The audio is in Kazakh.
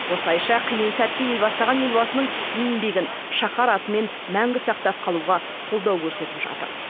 осылайша қиын сәтте ел бастаған елбасының еңбегін шаһар атымен мәңгі сақтап қалуға қолдау көрсетіп жатыр